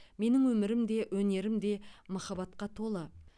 менің өмірім де өнерім де махаббатқа толы